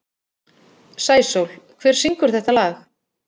Sæsól, hver syngur þetta lag?